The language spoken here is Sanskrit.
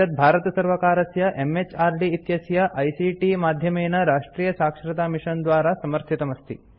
एतत् भारतसर्वकारस्य एमएचआरडी इत्यस्य आईसीटी माध्यमेन राष्ट्रीयसाक्षरतामिशन द्वारा समर्थितमस्ति